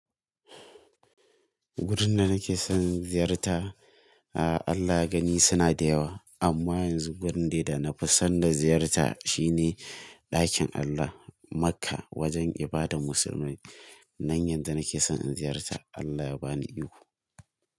Gurin da nake son ziyarta, a Allah ya gani suna da yawa. Amma yanzu gurin dai na fi son da ziyarta shine ɗakin Allah Makka wajen ibadar musulmai. Nan yanzu nake son in ziyarta Allah ya bani iko.